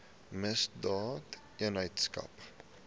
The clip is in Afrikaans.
misdaadeenheidsaak